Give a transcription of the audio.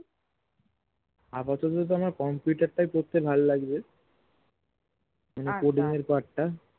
আপাতত তো আমার computer তাই পড়তে ভাল লাগচে মানে coding এর part টা